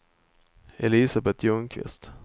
Elisabeth Ljungqvist